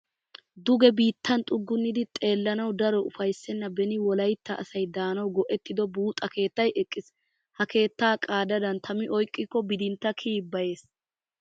Duge biittan xuggunnida xeelawu daro ufayssenna beni Wolaytta asay daanawu go'ettido buuxa keettay eqqiis. Ha keettaa qaadadan tami oyqqikko bidintta kiyi be'es.